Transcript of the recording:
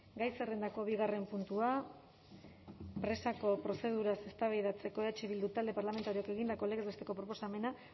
gai zerrendako bigarren puntua presako prozeduraz eztabaidatzeko eh bildu talde parlamentarioak egindako legez besteko proposamena